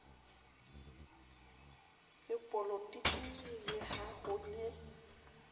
sepolotiki le ha ho ne